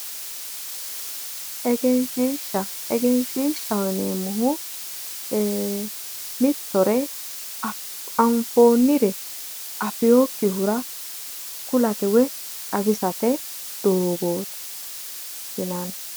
Egenshiisha egenshshiishshaho yineemmohu Mitore anfoonnire afeewokkihura kulate woy xawisate doogooti yinanni